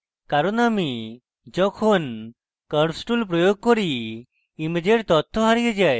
কারণ আমি যখন curves tool প্রয়োগ করি ইমেজের তথ্য হারিয়ে যায়